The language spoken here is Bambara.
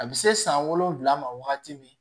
A bɛ se san wolonwula ma wagati min